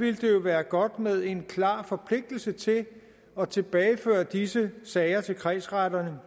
ville det jo være godt med en klar forpligtelse til at tilbageføre disse sager til kredsretterne